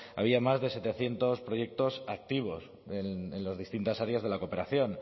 había más de setecientos proyectos activos en las distintas áreas de la cooperación